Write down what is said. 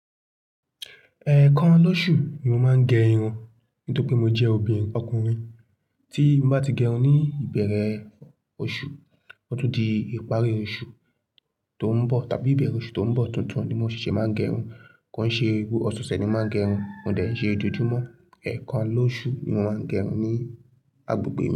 Ẹ̀ekan lóṣù ni mo máa ń gẹ irun nítorí pé mo jẹ́ obìnrin ọkùnrin. Tí mo bá ti gẹ irun ní ìbẹ̀rẹ̀ oṣù, ó tún di ìparí oṣù tó ń bọ̀ tàbí ìbẹ̀rẹ̀ oṣù tó ń bọ̀ tuntun ni mo ṣeṣẹ́ máa ń gẹ irun. Ko n ṣe oṣe ọ̀sẹ̀ ni màá ń gẹ irun, ko dẹ̀ n ṣe ojoojúmọ́. Ẹ̀ekan lóṣù ni mo máa ń gẹ irun ní agbègbè mi.